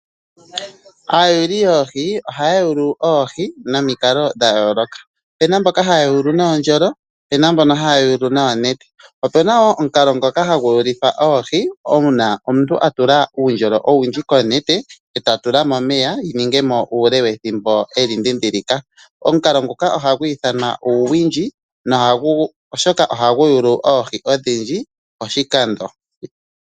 Aayuli yoohi ohaya yulu oohi nomikalo dha yooloka. Opu na mboka haya yulu nuundjolo po ope na mboka haya yulu noonete. Ope na wo omukalo ngoka hagu yulithwa oohi uuna omuntu a tula uundjolo owundji konete e ta tula momeya uule wethimbo e li dhindhilika. Omukalo nguka ohagu ithanwa uuwindji, oshoka ohagu yulu oohi odhindji poshikando.